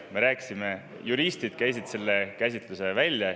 Me rääkisime sellest ja juristid käisid selle käsitluse välja.